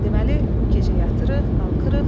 Deməli bu gecə yatırıq, qalxırıq.